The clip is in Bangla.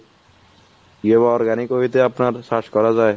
যে organic হইতে আপনার search করা যাই।